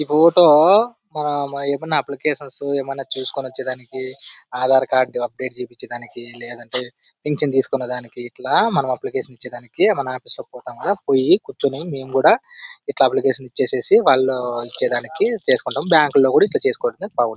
ఈ మన అప్లికేషన్స్ ఎమన్నా తీసుకుని వచ్చేదానికి ఆధార్ కార్డు అప్డేట్ చేపించేదానికి లేదంటే పింక్షన్ తీసుకునే దానికి ఇట్లా మనం అప్లికేషన్ ఇచ్చేదానికి మనం ఆఫీస్ లకి పోతాం కదా. పోయి కూర్చుని మేము కూడా ఇట్లా అప్లికేషన్ ఇచ్చేసేసి వాళ్ళు ఇచ్చేదానికి చేసుకుంటాం. బ్యాంకు లో కూడా ఇట్లా చేసుకోడానికి బాగుం--